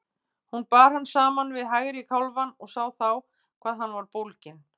Hún bar hann saman við hægri kálfann og sá þá hvað hann var bólginn.